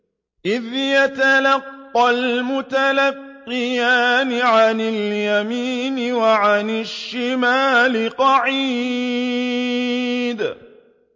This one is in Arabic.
إِذْ يَتَلَقَّى الْمُتَلَقِّيَانِ عَنِ الْيَمِينِ وَعَنِ الشِّمَالِ قَعِيدٌ